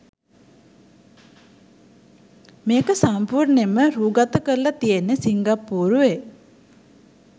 මේක සම්පුර්ණයෙන්ම රෑගත කරල තියෙන්නෙ සිංග්පුරුවේ.